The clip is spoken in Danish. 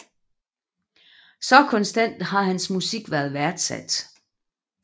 Så konstant har hans musik været værdsat